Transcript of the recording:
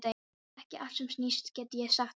Það er ekki allt sem sýnist, get ég sagt þér.